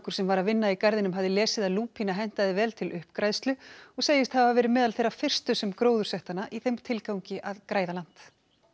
sem var að vinna í garðinum hafði lesið að lúpína hentaði vel til uppgræðslu og segist hafa verið meðal þeirra fyrstu sem gróðursettu hana í þeim tilgangi að græða land